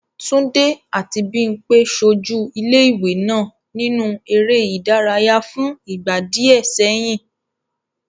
Túndé àti Bímpé ṣojú ilé-ìwé náà nínú eré ìdárayá fún ìgbà díẹ̀ sẹ́yìn.